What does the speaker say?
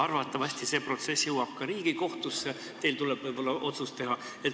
Arvatavasti see jõuab ka Riigikohtusse, teil tuleb võib-olla otsus teha.